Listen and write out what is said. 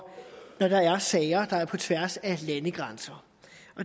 når der er sager der går på tværs af landegrænser